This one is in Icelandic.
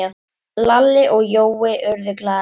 Lalli og Jói urðu glaðir.